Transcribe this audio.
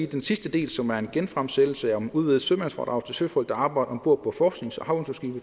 den sidste del som er en genfremsættelse om udvidet sømandsfradrag til søfolk der arbejder om bord på forsknings og